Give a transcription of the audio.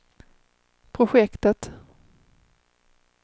projektet